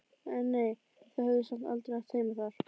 En nei, þau höfðu samt aldrei átt heima þar.